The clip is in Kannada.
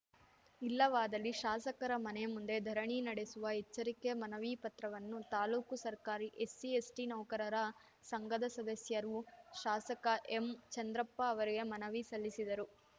ಇಲ್ಲವಾದಲ್ಲಿ ಶಾಸಕರ ಮನೆ ಮುಂದೆ ಧರಣಿ ನಡೆಸುವ ಎಚ್ಚರಿಕೆ ಮನವಿ ಪತ್ರವನ್ನು ತಾಲೂಕು ಸರ್ಕಾರಿ ಎಸ್ಸಿ ಎಸ್ಟಿನೌಕರರ ಸಂಘದ ಸದಸ್ಯರು ಶಾಸಕ ಎಂಚಂದ್ರಪ್ಪ ಅವರಿಗೆ ಮನವಿ ಸಲ್ಲಿಸಿದರು